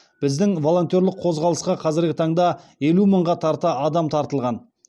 біздің волонтерлік қозғалысқа қазіргі таңда елу мыңға тарта адам тартылған